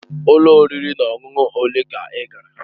Ụlọ oriri na ọṅụṅụ ole ka ị gara?